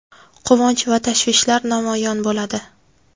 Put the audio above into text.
quvonch va tashvishlari namoyon bo‘ladi.